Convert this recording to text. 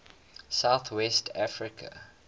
south west africa